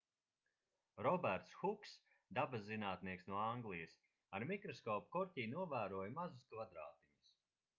roberts huks dabaszinātnieks no anglijas ar mikroskopu korķī novēroja mazus kvadrātiņus